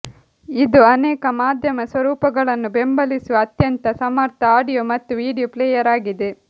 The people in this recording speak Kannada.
ಇದು ಅನೇಕ ಮಾಧ್ಯಮ ಸ್ವರೂಪಗಳನ್ನು ಬೆಂಬಲಿಸುವ ಅತ್ಯಂತ ಸಮರ್ಥ ಆಡಿಯೋ ಮತ್ತು ವೀಡಿಯೋ ಪ್ಲೇಯರ್ ಆಗಿದೆ